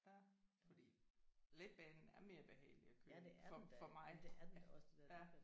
Ja fordi letbanen er mere behagelig at køre i for for mig ja